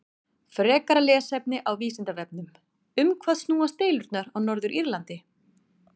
Frekara lesefni á Vísindavefnum: Um hvað snúast deilurnar á Norður-Írlandi?